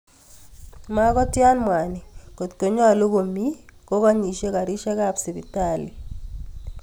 Magotiin mwaniik kot konyalu komi kokanyisyei kariisyekab sibitaliit